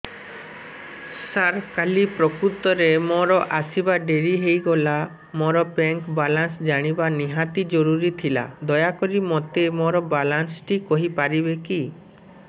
ସାର କାଲି ପ୍ରକୃତରେ ମୋର ଆସିବା ଡେରି ହେଇଗଲା ମୋର ବ୍ୟାଙ୍କ ବାଲାନ୍ସ ଜାଣିବା ନିହାତି ଜରୁରୀ ଥିଲା ଦୟାକରି ମୋତେ ମୋର ବାଲାନ୍ସ ଟି କହିପାରିବେକି